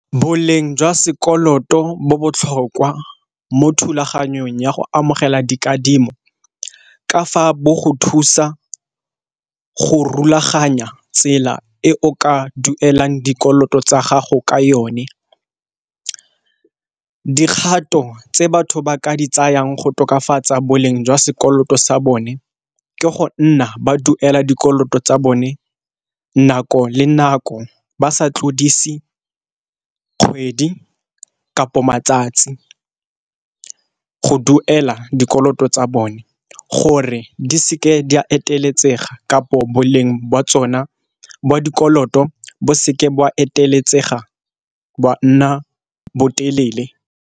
Boleng jwa sekoloto bo botlhokwa mo thulaganyong ya go amogela dikadimo, ka fa bo go thusa go rulaganya tsela e o ka duelang dikoloto tsa gago ka yone. Dikgato tse batho ba ka di tsayang go tokafatsa boleng jwa sekoloto sa bone ke go nna ba duela dikoloto tsa bone nako le nako ba sa tlodise kgwedi kapo matsatsi go duela dikoloto tsa bone, gore di seke di a eteletseng aga kapo boleng jwa tsona bo dikoloto bo seke ba eteletsega boa nna bo telele.